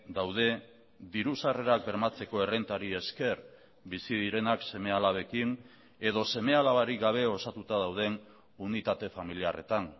daude diru sarrerak bermatzeko errentari esker bizi direnak seme alabekin edo seme alabarik gabe osatuta dauden unitate familiarretan